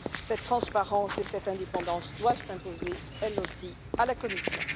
Cette transparence et cette indépendance doivent s'imposer, elles aussi, à la Commission.